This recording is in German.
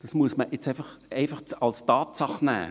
Das muss man einfach als Tatsache hinnehmen.